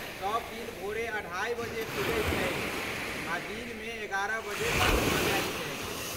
सब दिन भोरे अढ़ाई बजे खुजै छै आ दिनमे एगारह बजे बन्द भऽ जाइ छै।